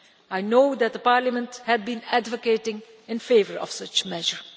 I know that the Parliament had been advocating in favour of such a measure.